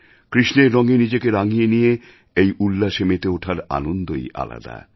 কৃষ্ণের রঙে নিজেকে রাঙিয়ে নিয়ে এই উল্লাসে মেতে ওঠার আনন্দই আলাদা